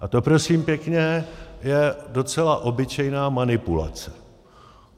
A to prosím pěkně je docela obyčejná manipulace.